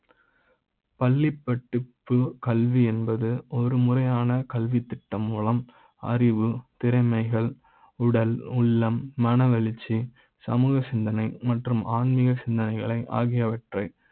பள்ளி ப்பட்டு ப்பு கல்வி என்பது ஒரு முறையான கல்வித்திட்ட ம் மூலம் அறிவு திறமைகள் உடல் உள்ள ம், மனவெழுச்சி சமூக சிந்தனை மற்றும் ஆன்மிக சிந்தனைகளை ஆகியவற்றை